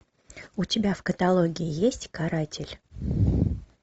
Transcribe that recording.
у тебя в каталоге есть каратель